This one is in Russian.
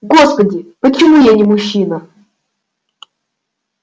господи почему я не мужчина